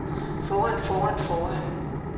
foran foran foran